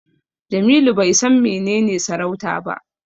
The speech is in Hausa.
Jamilu bai san menene sarauta ba.